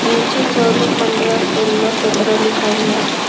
नीचे चौदह पंद्रह सोलह सत्रह लिखा हुआ है।